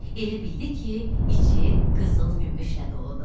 Elə bildi ki, içi qızıl-gümüşlə doludur.